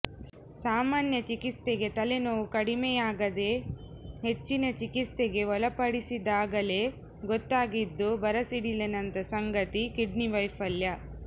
ಸಾಮಾನ್ಯ ಚಿಕಿತ್ಸೆಗೆ ತಲೆ ನೋವು ಕಡಿಮೆಯಾಗದೆ ಹೆಚ್ಚಿನ ಚಿಕಿತ್ಸೆಗೆ ಒಳಪಡಿಸಿದಾಗಲೆ ಗೊತ್ತಾಗಿದ್ದು ಬರಸಿಡಿಲಿನಂತ ಸಂಗತಿ ಕಿಡ್ನಿ ವೈಫಲ್ಯ